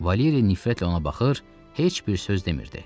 Valeri nifrətlə ona baxır, heç bir söz demirdi.